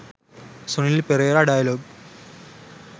sunil perera dialog